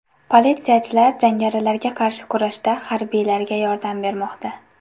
Politsiyachilar jangarilarga qarshi kurashda harbiylarga yordam bermoqda.